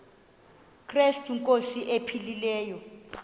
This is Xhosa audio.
krestu inkosi ephilileyo